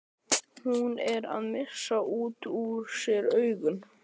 Hún er að missa út úr sér augun.